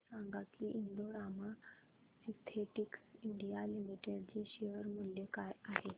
हे सांगा की Indo Rama Synthetics India Limited चे शेअर मूल्य काय आहे